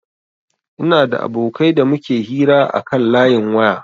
Ina da abokai da muke hira akan layin waya